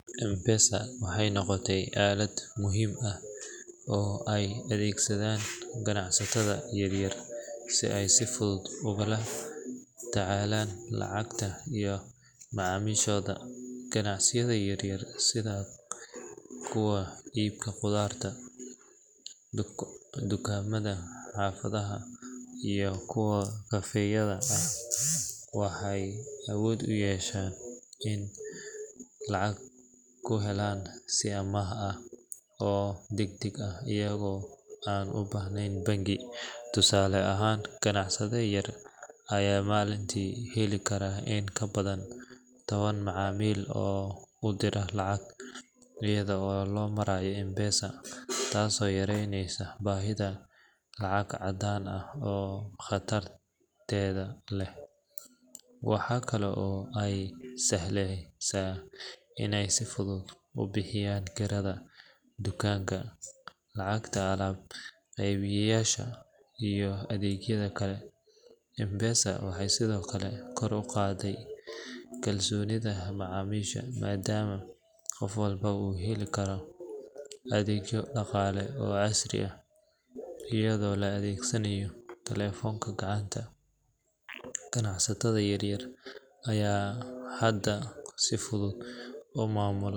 M-Pesa waxay noqotay aalad muhiim ah oo ay adeegsadaan ganacsatada yaryar si ay si fudud ugula tacaalaan lacagta iyo macaamiishooda. Ganacsiyada yaryar sida kuwa iibka khudaarta, dukaamada xaafadaha iyo kuwa kafee-yada ah waxay awood u yeesheen inay lacag ku helaan si ammaan ah oo degdeg ah iyagoo aan u baahnayn bangi. Tusaale ahaan, ganacsade yar ayaa maalintii heli kara in ka badan toban macaamiil oo u dira lacag iyada oo loo marayo M-Pesa, taasoo yareyneysa baahida lacag caddaan ah oo khatarteeda leh. Waxaa kale oo ay u sahlaysaa inay si fudud u bixiyaan kirada dukaanka, lacagta alaab-qeybiyeyaasha iyo adeegyada kale. M-Pesa waxay sidoo kale kor u qaadday kalsoonida macaamiisha maadaama qof walba uu heli karo adeegyo dhaqaale oo casri ah iyadoo la adeegsanayo taleefanka gacanta. Ganacsatada yaryar ayaa hadda si fudud u maamula.